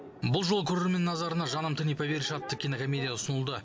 бұл жолы көрермен назарына жаным ты не поверишь атты кинокомедия ұсынылды